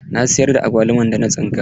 Na siyar da agwaluman da na tsinka.